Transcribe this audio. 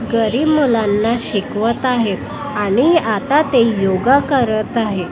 घरी मुलांना शिकवत आहेत आणि आता ते योगा करत आहेत.